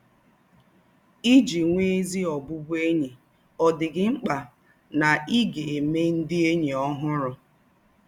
Ìjì nwè́ ézí ọ̀bụ̀bụ̀én̄yi, ọ̀ dị̄ghị̄ ḿkpà na í gà-èmè ndị̀ ényí òhúrù